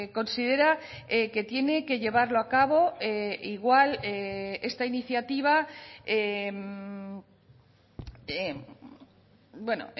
considera que tiene que llevarlo a cabo igual esta iniciativa bueno